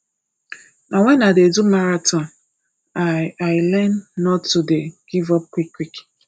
na wen i dey do marathon i i learn not to dey giveup quick quick